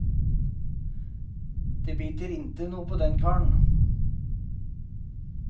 Det biter inte noe på den karen.